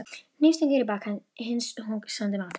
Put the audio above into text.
Hnífstungur í bak hins hugsandi manns.